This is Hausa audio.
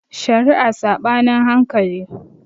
Shari'a Saɓanin hankali